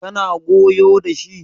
kana goyo da shi?